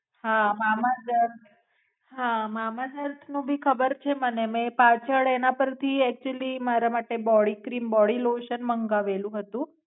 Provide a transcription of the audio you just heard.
હા અર્થ હા મામાસ અર્થ નું ભી ખબર છે મને મેં પાછળ એના પરથી અક્ટયુઅલી મારા માટે Body cream body lotion મંગાવેલું હતું.